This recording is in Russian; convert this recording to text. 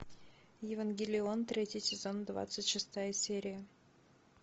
евангелион третий сезон двадцать шестая серия